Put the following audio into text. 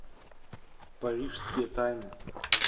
парижские тайны